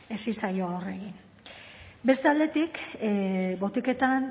aurre egin beste aldetik botiketan